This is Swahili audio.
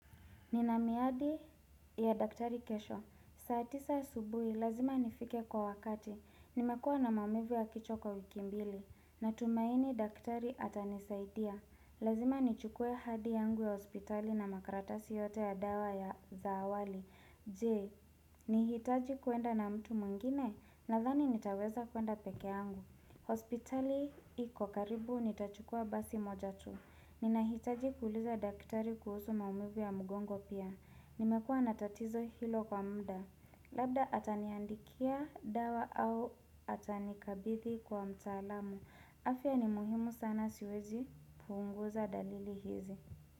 Ninamiadi ya daktari kesho. Saatisa asubuhi lazima nifike kwa wakati. Nimekuwa na maumivu ya kichwa kwa wiki mbili. Natumaini daktari atanisaidia. Lazima nichukue hadi yangu ya hospitali na makaratasi yote ya dawa ya za awali. Je, nihitaji kuenda na mtu mwengine nadhani nitaweza kuenda peke yangu. Hospitali iko karibu nitachukua basi moja tu Ninahitaji kuuliza daktari kuhusu maumivu ya mgongo pia Nimekua na tatizo hilo kwa muda Labda ataniandikia dawa au atanikabidhi kwa mtaalamu afya ni muhimu sana siwezi punguza dalili hizi.